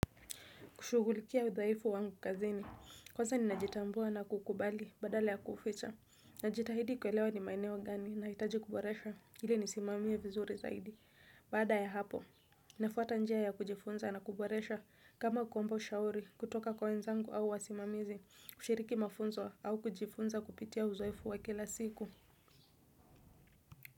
Kushugulikia udhaifu wangu kazini, kwanza ninajitambua na kukubali badala ya kuficha. Najitahidi kwelewa ni maenewo gani nahitaji kuboresha, hili nisimamie vizuri zaidi. Bada ya hapo, nafuata njia ya kujifunza na kuboresha kama kuomba ushauri kutoka kwa wenzangu au wasimamizi kushiriki mafunzo au kujifunza kupitia udaifu wa kila siku.